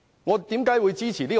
為何我會支持這個方案？